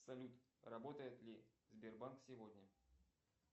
салют работает ли сбербанк сегодня